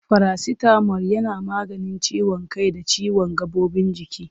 Farasitamol yana maganin ciwon kai da ciwon gaɓoɓin jiki.